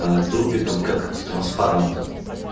тропиком как с транспарантом